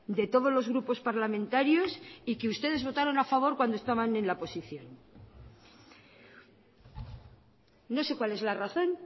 de todos los grupos parlamentarios y que ustedes votaron a favor cuando estaban en la oposición no sé cuál es la razón